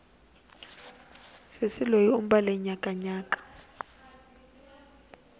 sesi loyi u mbale nyakanyaka